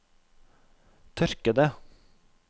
tørkede